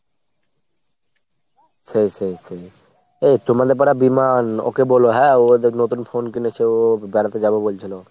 সেই সেই সেই। এ তোমাদের পাড়ার Biman ওকে বলো হ্যাঁ ও নতুন phone কিনেছে, ও বেড়াতে যাবে বলছিলো।